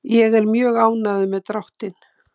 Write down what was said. Ég er mjög ánægður með dráttinn.